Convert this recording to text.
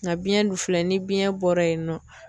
Nka biɲɛn dun filɛ, ni biyɛn bɔra yen nɔ